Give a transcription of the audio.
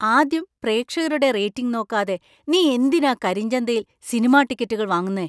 ആദ്യം പ്രേക്ഷകരുടെ റേറ്റിംഗ് നോക്കാതെ നീ എന്തിനാ കരിഞ്ചന്തയിൽ സിനിമാ ടിക്കറ്റുകൾ വാങ്ങുന്നേ ?